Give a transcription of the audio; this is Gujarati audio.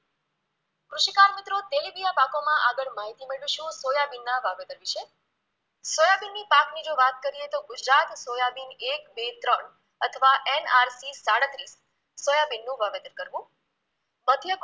આગળ માહિતી મેળવીશું સોયાબીનના વાવેતર વિશે સોયાબીનની પાકની જો વાત કરીએ તો ગુજરાત સોયાબીન એક, બે, ત્રણ અથવા NRP સાડત્રીસ સોયાબીનનું વાવેતર કરવું